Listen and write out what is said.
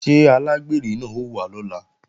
Ṣé alágbèrè náà ó wá lọ́la?